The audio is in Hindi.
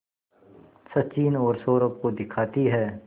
सचिन और सौरभ को दिखाती है